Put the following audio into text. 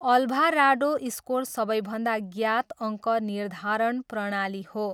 Alvarado score सबैभन्दा ज्ञात अङ्क निर्धारण प्रणाली हो।